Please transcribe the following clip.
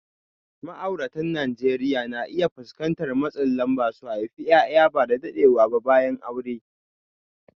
Ma’auratan Najeriya na iya fuskantar matsin lamba su haifi ’ya’ya ba da daɗewa ba bayan aure.